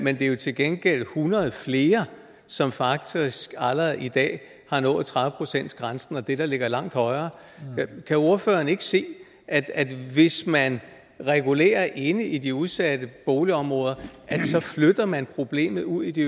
er jo til gengæld hundrede flere som faktisk allerede i dag har nået tredive procent grænsen og det der ligger langt højere kan ordføreren så ikke se at at hvis man regulerer inde i de udsatte boligområder så flytter man problemet ud i de